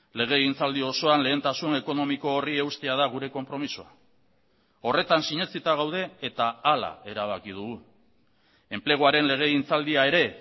legegintzaldi osoan lehentasun ekonomiko horri eustea da gure konpromisoa horretan sinetsita gaude eta hala erabaki dugu enpleguaren legegintzaldia ere